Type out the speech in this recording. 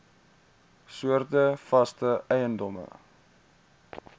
soorte vaste eiendom